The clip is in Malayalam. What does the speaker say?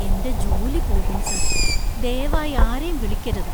എന്‍റെ ജോലി പോകും , സർ. ദയവായി ആരെയും വിളിക്കരുത്.